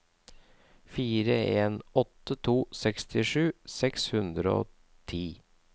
fire en åtte to sekstisju seks hundre og ti